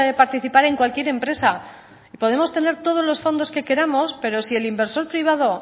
participar en cualquier empresa y podemos tener todos los fondos que queramos pero si el inversor privado